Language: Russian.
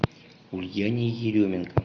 ульяне еременко